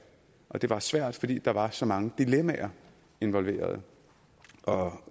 og det var svært fordi der var så mange dilemmaer involveret og